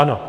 Ano.